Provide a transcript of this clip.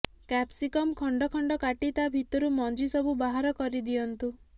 capsicum ଖଣ୍ଡ ଖଣ୍ଡ କାଟି ତା ଭିତରୁ ମଞ୍ଜି ସବୁ ବାହାର କରି ଦିଅନ୍ତୁ